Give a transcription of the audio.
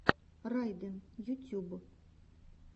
райден ютюб